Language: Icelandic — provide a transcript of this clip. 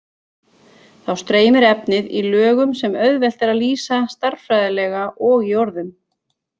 Þá streymir efnið í lögum sem auðvelt er að lýsa stærðfræðilega og í orðum.